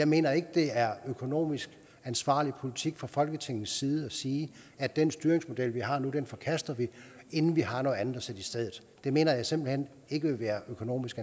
mener at det er økonomisk ansvarlig politik fra folketingets side at sige at den styringsmodel vi har nu forkaster vi inden vi har noget andet at sætte i stedet det mener jeg simpelt hen ikke ville være økonomisk